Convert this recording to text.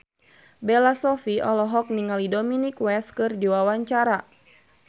Bella Shofie olohok ningali Dominic West keur diwawancara